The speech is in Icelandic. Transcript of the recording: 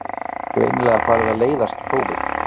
Greinilega farið að leiðast þófið.